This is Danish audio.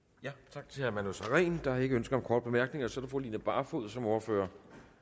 tak til herre manu sareen der er ikke ønske om korte bemærkninger så er det fru line barfod som ordfører